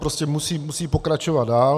Prostě musí pokračovat dál.